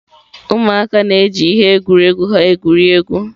ụmụaka na-eji ihe egwuregwu ha egwuri egwu.